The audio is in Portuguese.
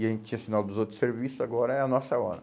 E a gente tinha sinal dos outros serviços, agora é a nossa hora.